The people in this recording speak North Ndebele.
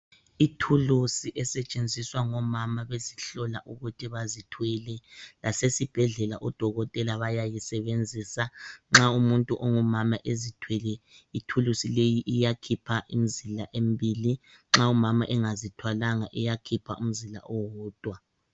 Ithulusi esetshenziswa ngomama bezihlola ukuthi bazithwele, lasesibhedlela odokotela bayayisebenzisa. Nxa umuntu ongumama ezithwele ithulusi leyi iyakhipha imzila embili nxa umama engazithwalanga iyakhipha umzila owodwa.